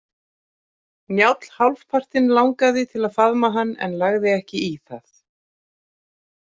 Njáll hálfpartinn langaði til að faðma hann en lagði ekki í það.